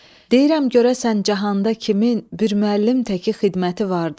Deyirəm görəsən cahanda kimin bir müəllim təki xidməti vardı?